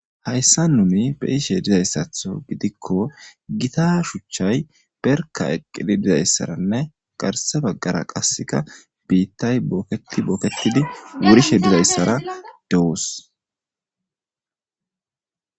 Haysan nuni beyishe dizaysatho gidikko gita shucayi berka eqidi dizayzsara garse bagara qasikka bita boketi wurishe dos